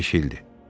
Beş ildir.